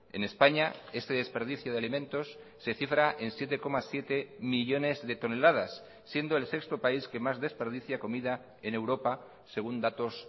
en españa este desperdicio de alimentos se cifra en siete coma siete millónes de toneladas siendo el sexto país que más desperdicia comida en europa según datos